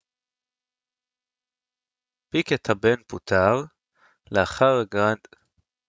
פיקט הבן פוטר לאחר הגרנד פרי ההונגרי של שנת 2009